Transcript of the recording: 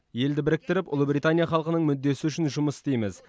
елді біріктіріп ұлыбритания халқының мүддесі үшін жұмыс істейміз